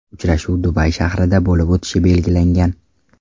Uchrashuv Dubay shahrida bo‘lib o‘tishi belgilangan.